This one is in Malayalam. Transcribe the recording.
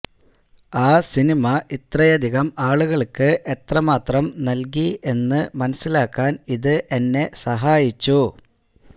ആ സിനിമ ഇത്രയധികം ആളുകള്ക്ക് എത്രമാത്രം നല്കി എന്ന് മനസിലാക്കാന് ഇത് എന്നെ സഹായിച്ചു